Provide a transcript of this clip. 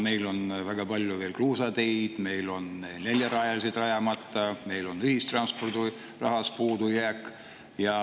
Meil on väga palju veel kruusateid, meil on neljarajalised rajamata, meil on ühistranspordirahast puudujääk.